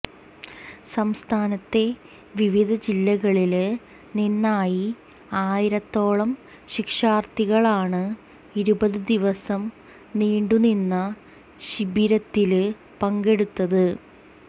സംസ്ഥാനത്തെ വിവിധ ജില്ലകളില് നിന്നായി ആയിരത്തോളം ശിക്ഷാര്ത്ഥികളാണ് ഇരുപത് ദിവസം നീണ്ടുനിന്ന ശിബിരത്തില് പങ്കെടുത്തത്